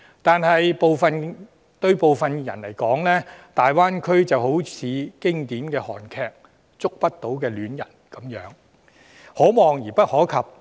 但對部分人士來說，大灣區好像經典韓劇"觸不到的戀人"一般，可望而不可及。